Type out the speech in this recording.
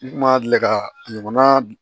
N kun ma deli ka ɲɔgɔn na